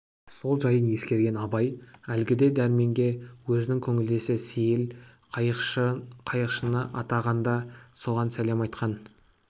сол жайын ескерген абай әлгіде дәрменге өзінің көңілдесі сейіл қайықшыны атаған да соған сәлем айтқан